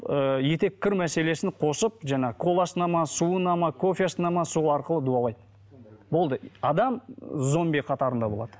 ыыы етеккір мәселесін қосып жаңағы коласына ма суына ма кофесіне ме сол арқылы дуалайды болды адам зомби қатарында болады